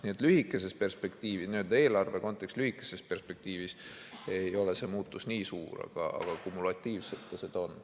Nii et lühikeses perspektiivis, eelarve kontekstis ei ole see muutus nii suur, aga kumulatiivselt ta seda on.